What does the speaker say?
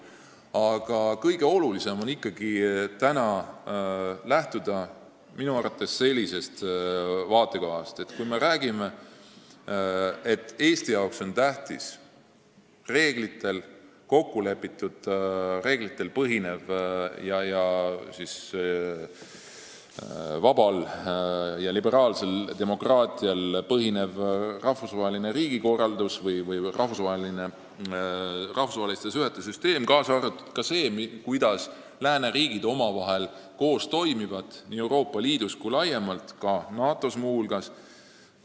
Aga kõige olulisem on minu arvates ikkagi lähtuda sellisest vaatekohast, et Eesti jaoks on tähtis kokkulepitud reeglitel ning vabal ja liberaalsel demokraatial põhinev rahvusvaheliste suhete süsteem, kaasa arvatud see, kuidas lääneriigid koos toimivad nii Euroopa Liidus kui laiemalt, muu hulgas NATO-s.